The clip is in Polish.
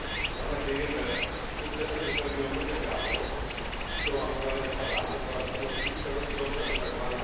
Mam nadzieję, że sukcesem wypełni on lukę prawną, w którą aktualnie wpadamy, oraz umożliwi szeroki dostęp do tzw.